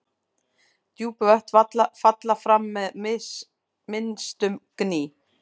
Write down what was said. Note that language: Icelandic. Djúp vötn falla fram með minnstum gný.